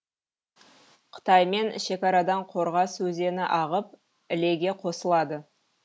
қытаймен шекарадан қорғас өзені ағып ілеге қосылады